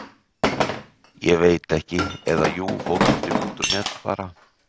Ég veit ekki, eða jú fótbolti.net bara.